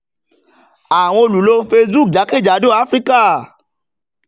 àwọn olùlo facebook jákèjádò áfíríkà